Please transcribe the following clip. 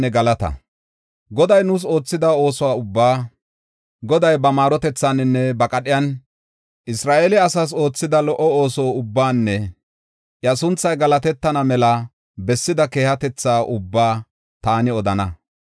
Goday nuus oothida ooso ubbaa, Goday ba maarotethaaninne ba qadhiyan Isra7eele asaas oothida lo77o ooso ubbaanne iya sunthay galatetana mela bessida keehatetha ubbaa taani odana.